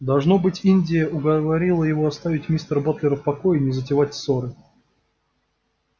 должно быть индия уговорила его оставить мистера батлера в покое и не затевать ссоры